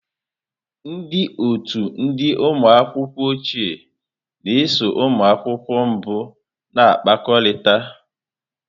Ndị otu ndị ụmụ akwụkwọ ochie na-eso ụmụ akwụkwọ mbụ na-akpakọrịta.